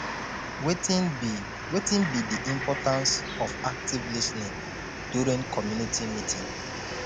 wetin be wetin be di importance of active lis ten ing during community meeting